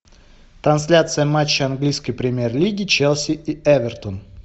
трансляция матча английской премьер лиги челси и эвертон